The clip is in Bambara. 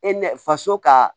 E nɛ faso ka